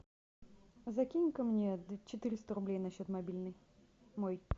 закинь ка мне четыреста рублей на счет мобильный мой